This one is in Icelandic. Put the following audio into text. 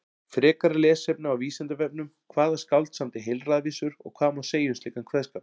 Frekara lesefni á Vísindavefnum: Hvaða skáld samdi heilræðavísur og hvað má segja um slíkan kveðskap?